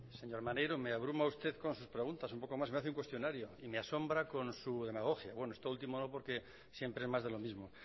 señor maneiro me abruma usted con sus preguntas un poco más y me hace un cuestionario y me asombra con su demagogia bueno esto último no porque siempre es más de lo mismo